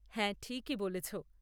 হ্যাঁ ঠিকই বলেছ।